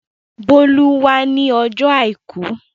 Bólú wá ní ọjọ́ àìkú.